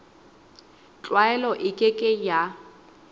tlwaelo e ke ke ya